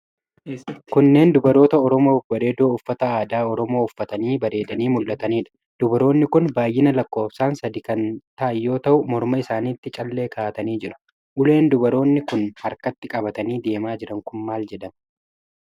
Kunneen dubaroota Oromoo babbareedoo uffata aadaa oromoo uffatanii bareedanii mul'ataniidha. Dubaroonni kun baay'ina lakkoofsaan sadi kan ta'an yoo ta'u, morma isaanitti callee kaa'atanii jiru. Uleen dubartoonni kun harkatti qabatanii deemaa jiran kun maal jedhama?